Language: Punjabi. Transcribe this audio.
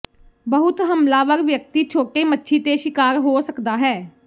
ਬਹੁਤ ਹਮਲਾਵਰ ਵਿਅਕਤੀ ਛੋਟੇ ਮੱਛੀ ਤੇ ਸ਼ਿਕਾਰ ਹੋ ਸਕਦਾ ਹੈ